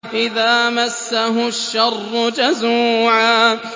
إِذَا مَسَّهُ الشَّرُّ جَزُوعًا